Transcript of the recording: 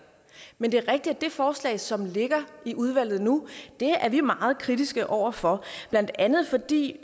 men det er rigtigt at det forslag som ligger i udvalget nu er vi meget kritiske over for blandt andet fordi